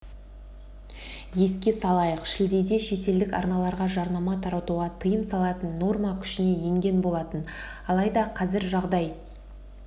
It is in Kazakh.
еске салайық шілдеде шетелдік арналарға жарнама таратуға тыйым салатын норма күшіне енген болатын алайда қазір жағдай